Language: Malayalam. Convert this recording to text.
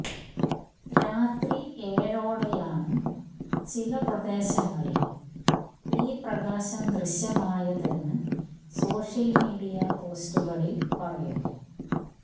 രാത്രി ഏഴോടെയാണ് ചില പ്രദേശങ്ങളിൽ ഈ പ്രകാശം ദൃശ്യമായതെന്ന് സോഷ്യൽ മീഡിയ പോസ്റ്റുകളിൽ പറയുന്നു